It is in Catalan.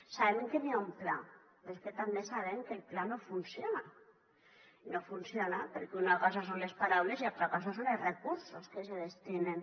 sabem que n’hi ha un pla però és que també sabem que el pla no funciona i no funciona perquè una cosa són les paraules i altra cosa són els recursos que s’hi destinen